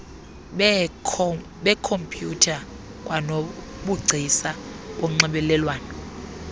beekhompyutha kwanobugcisa bonxibelelwano